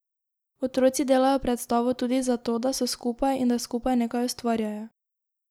Otroci delajo predstavo tudi zato, da so skupaj in da skupaj nekaj ustvarjajo.